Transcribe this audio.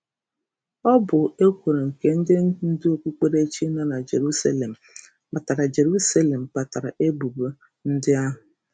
Ọ bụ ekworo nke ndị ndu okpukperechi nọ na Jeruselem kpatara Jeruselem kpatara ebubo ndị ahụ.